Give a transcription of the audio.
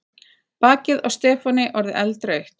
Bakið á Stefáni orðið eldrautt.